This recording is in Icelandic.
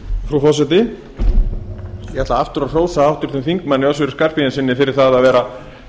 frú forseti ég ætla aftur að hrósa háttvirtum þingmanni össuri skarphéðinssyni fyrir að